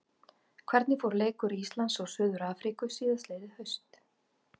Hvernig fór leikur Íslands og Suður-Afríku síðastliðið haust?